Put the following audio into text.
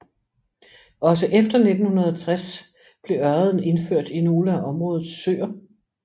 Også efter 1960 blev ørreden indført i nogle af områdets søer